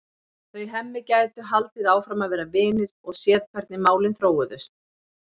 Þau Hemmi gætu haldið áfram að vera vinir og séð hvernig málin þróuðust.